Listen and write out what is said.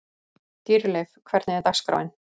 Dýrleif, hvernig er dagskráin?